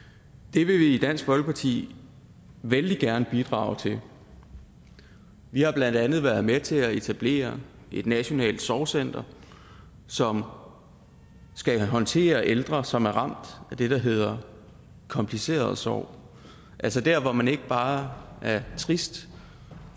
det vil vi i dansk folkeparti vældig gerne bidrage til vi har blandt andet været med til at etablere et nationalt sorgcenter som skal håndtere ældre som er ramt af det der hedder kompliceret sorg altså der hvor man ikke bare er trist